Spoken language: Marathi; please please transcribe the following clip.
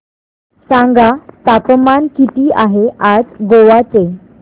सांगा तापमान किती आहे आज गोवा चे